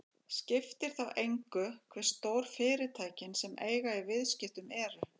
Skiptir þá engu hve stór fyrirtækin sem eiga í viðskiptunum eru.